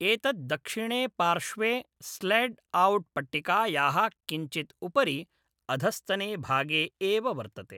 एतत् दक्षिणे पार्श्वे, स्लैड् औट् पट्टिकायाः किञ्चित् उपरि, अधस्तने भागे एव वर्तते।